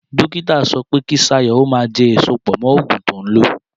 Dókítà sọ pé kí Ṣayọ̀ ó má jẹ èso pọ̀ mọ́ ògùn tó ń lò